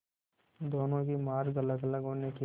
दोनों के मार्ग अलगअलग होने के